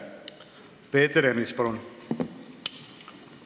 Peeter Ernits, palun!